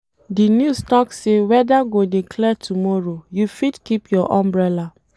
Di news tok sey weather go dey clear tomorrow, you fit keep your umbrella.